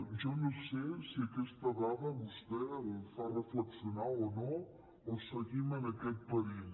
jo no sé si aquesta dada a vostè el fa reflexionar o no o seguim en aquest perill